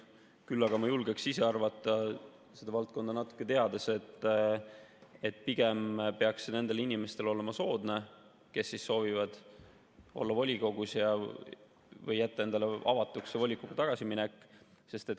Küll aga ma julgen arvata, seda valdkonda natuke teades, et pigem peaks see olema soodne nendele inimestele, kes soovivad olla volikogus või jätta endale avatuks volikokku tagasimineku.